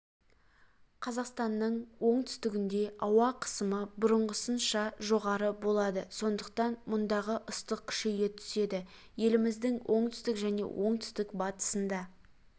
қазақстанның оңтүстігінде ауа қысымы бұрынғысынша жоғары болады сондықтан мұндағы ыстық күшейе түседі еліміздің оңтүстігі мен оңтүстік-батысында